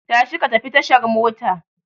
Tashi ka tafi tashar mota!